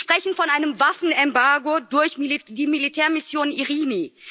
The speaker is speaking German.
Sie sprechen von einem Waffenembargo durch die Militärmission Irini.